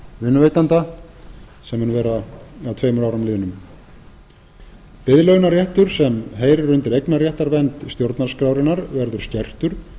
vinnuveitanda sem mun vera að tveimur árum liðnum biðlaunaréttur sem heyrir undir eignarréttarvernd stjórnarskrárinnar verður skertur